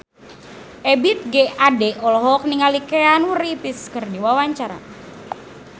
Ebith G. Ade olohok ningali Keanu Reeves keur diwawancara